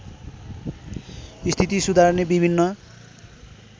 स्थिति सुधार्ने विभिन्न